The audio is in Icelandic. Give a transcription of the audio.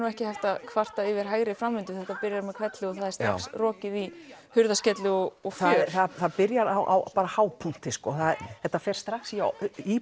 ekki hægt að kvarta yfir hægri framvindu þetta byrjar með hvelli og það er strax rokið í hurðarskellu og það byrjar á hápunkti þetta fer strax í